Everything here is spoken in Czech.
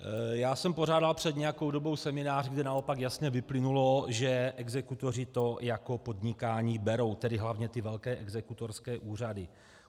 Já jsem pořádal před nějakou dobou seminář, kde naopak jasně vyplynulo, že exekutoři to jako podnikání berou, tedy hlavně ty velké exekutorské úřady.